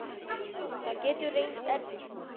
Það getur reynst erfitt.